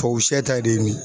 Tubabusɛ ta de ye nin ye